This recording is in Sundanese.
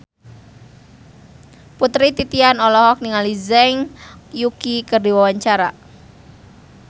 Putri Titian olohok ningali Zhang Yuqi keur diwawancara